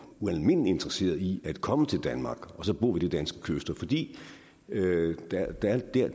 ualmindelig interesseret i at komme til danmark og bo ved de danske kyster fordi